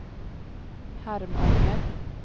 Harmånger